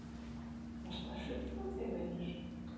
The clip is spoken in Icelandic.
Varstu að hrufla þig vinur?